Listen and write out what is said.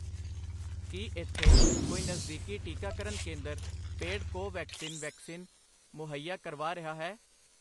ਕੀ ਇੱਥੇ ਕੋਈ ਨਜ਼ਦੀਕੀ ਟੀਕਾਕਰਨ ਕੇਂਦਰ ਪੇਡ ਕੋਵੈਕਸਿਨ ਵੈਕਸੀਨ ਮੁਹੱਈਆ ਕਰਵਾ ਰਿਹਾ ਹੈ?